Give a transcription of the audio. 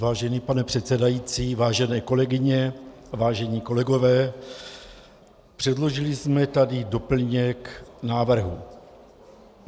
Vážený pane předsedající, vážené kolegyně, vážení kolegové, předložili jsme tady doplněk návrhu.